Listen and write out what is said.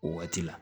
O waati la